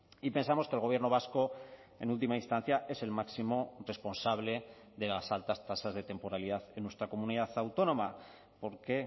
y pensamos que el gobierno vasco en última instancia es el máximo responsable de las altas tasas de temporalidad en nuestra comunidad autónoma porque